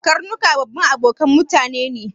Karnuka babban abokanan mutane ne